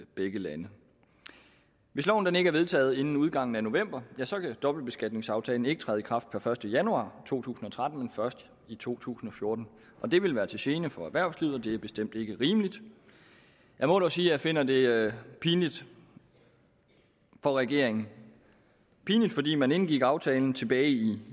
begge lande hvis loven ikke er vedtaget inden udgangen af november ja så kan dobbeltbeskatningsaftalen ikke træde i kraft per første januar to tusind og tretten men først i to tusind og fjorten og det vil være til gene for erhvervslivet og det er bestemt ikke rimeligt jeg må dog sige at jeg finder det pinligt for regeringen pinligt fordi man indgik aftalen tilbage i